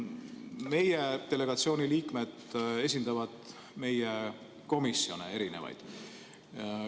Meie delegatsiooni liikmed esindavad meie komisjone, erinevaid.